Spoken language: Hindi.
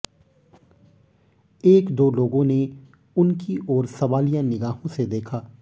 एक दो लोगों ने उनकी ओर सवालिया निगाहों से देखा